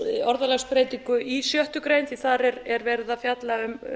orðalagsbreytingu í sjöttu greinar því þar er verið að fjalla um